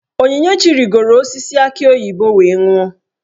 Onyinyechi rigoro osisi aki oyibo wee nwuo.